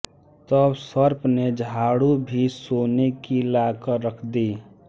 तब सर्प ने झाडू भी सोने की लाकर रख दी